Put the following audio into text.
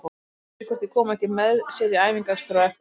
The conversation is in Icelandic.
Hann spyr hvort ég komi ekki með sér í æfingaakstur á eftir.